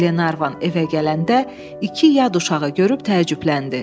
Glenarvan evə gələndə iki yad uşağı görüb təəccübləndi.